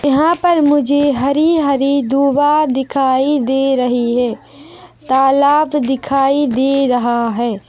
यहाँ पर मुझे हरी-हरी दूबा दिखाई दे रही है तालाब दिखाई दे रहा हैं ।